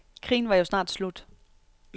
Krigen var jo snart slut.